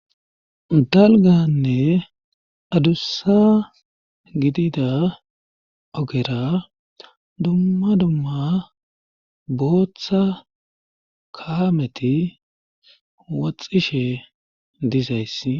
dalganne adussa gidida ogera dumma dumma booththa kaameti woxxishe dizays